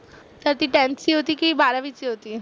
तर ती त्यांची होती की बारावीची होती?